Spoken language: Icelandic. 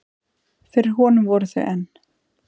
Fyrir honum voru þau enn